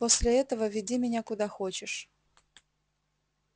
после этого веди меня куда хочешь